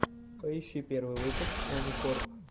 поищи первый выпуск оникорп